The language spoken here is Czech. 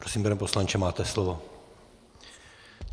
Prosím, pane poslanče, máte slovo.